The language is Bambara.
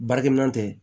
Baarakɛminɛn tɛ